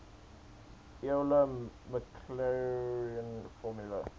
euler maclaurin formula